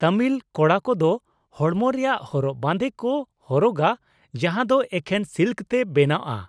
ᱛᱟᱹᱢᱤᱞ ᱠᱚᱲᱟ ᱠᱚᱫᱚ ᱦᱚᱲᱢᱚ ᱨᱮᱭᱟᱜ ᱦᱚᱨᱚᱜ ᱵᱟᱸᱫᱮ ᱠᱚ ᱦᱚᱨᱚᱜᱟ ᱡᱟᱦᱟᱸ ᱫᱚ ᱮᱠᱷᱮᱱ ᱥᱤᱞᱠ ᱛᱮ ᱵᱮᱱᱟᱣᱼᱟᱜ ᱾